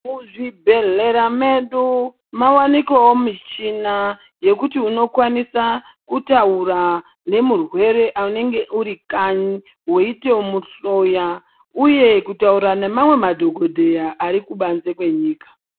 Muzvibhedhlera medu mawanikawo michini yekuti unokwanisawo kutaura nemurwere anenge uri kanyi weitomuhloya uye kutaura nemamwe madhokodheya arikubanze kwenyika.